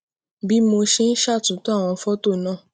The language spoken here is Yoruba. bí mo ṣe ń ṣatunto àwọn fótò náà